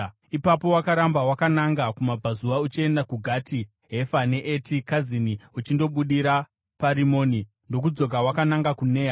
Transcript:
Ipapo wakaramba wakananga kumabvazuva uchienda kuGati Hefa neEti Kazini; uchindobudira paRimoni ndokudzoka wakananga kuNea.